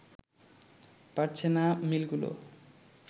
পারছে না মিলগুলো